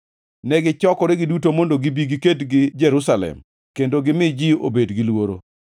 Negichokore giduto mondo gibi giked gi Jerusalem kendo gimi ji obed gi luoro.